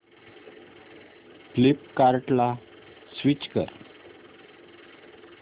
फ्लिपकार्टं ला स्विच कर